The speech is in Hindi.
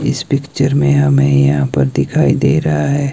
इस पिक्चर मे हमे यहां पर दिखाई दे रहा है।